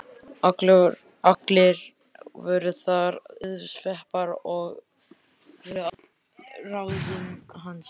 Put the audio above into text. Allar voru þær auðsveipar og fóru að ráðum hans.